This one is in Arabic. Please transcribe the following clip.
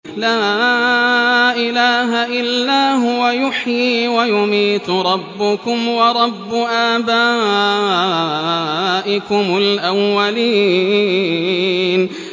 لَا إِلَٰهَ إِلَّا هُوَ يُحْيِي وَيُمِيتُ ۖ رَبُّكُمْ وَرَبُّ آبَائِكُمُ الْأَوَّلِينَ